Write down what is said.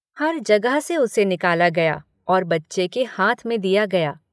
हर जगह से उसे निकाला गया और बच्चे के हाथ में दिया गया।